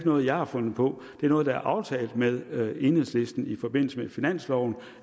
noget jeg har fundet på det er noget der er aftalt med med enhedslisten i forbindelse med finansloven